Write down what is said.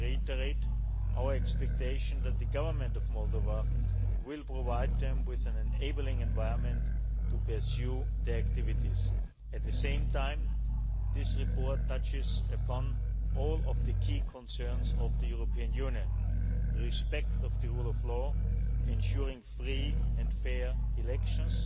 reforms. I reiterate our expectation that the Government of Moldova will provide them with an enabling environment to pursue their activities. At the same time, this report touches upon all of the key concerns of the European Union respect for the rule of law, ensuring free and fair